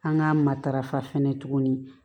An ka matarafa fɛnɛ tuguni